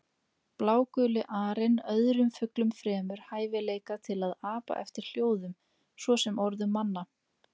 Bláguli arinn öðrum fuglum fremur hæfileika til að apa eftir hljóðum, svo sem orðum manna.